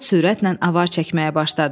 Tod sürətlə avar çəkməyə başladı.